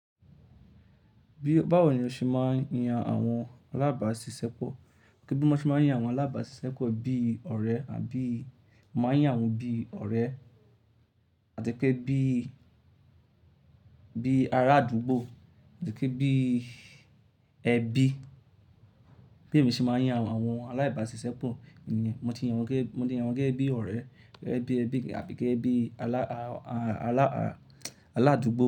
Bí báwo ni o ṣe máa ń yan àwọn alábàáṣiṣẹ́pọ̀? Kí bí mo ti máa ń yan àwọn alábàáṣiṣẹ́pọ̀ bí ọ̀rẹ́ àbí máa ń yan wọn bí ọ̀rẹ́ àti pé bí, bí ará àdúgbò àti pé bí ẹbí. Bi èmi ṣe máa ń yan àwọn aláìbáṣiṣẹ́pọ̀ ni mo ti yan wọn gẹ́ge mo ti yan wọn gẹ́ge bí ọ̀rẹ́, gẹ́ bí ẹbí àbí gẹ́ bí alá, a, a, alá, a, aládùúgbò.